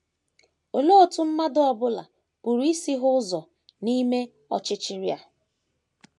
Olee otú mmadụ ọ bụla pụrụ isi hụ ụzọ n’ime ọchịchịrị a?